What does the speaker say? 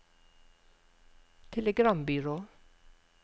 telegrambyrå